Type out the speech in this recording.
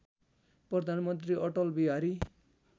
प्रधानमन्त्री अटल बिहारी